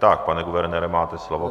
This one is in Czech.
Tak, pane guvernére, máte slovo.